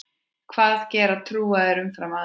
Hvað gera trúaðir umfram aðra?